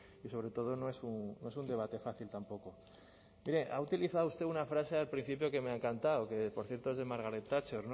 y sobre todo no es un debate fácil tampoco mire ha utilizado usted una frase al principio que me ha encantado que por cierto de margaret thatcher